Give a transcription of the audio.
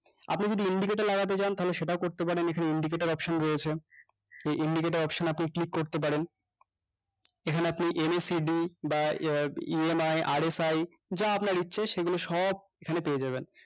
আপনি যদি indicator লাগাতে চান তাহলে সেটাও করতে পারেন এখানে indicator option রয়েছে এই indicator option এ আপনি click করতে পারেন এখানে আপনি abcd বা আহ EMIRFI যা আপনার ইচ্ছে সেগুলো সব এখানে পেয়ে যাবেন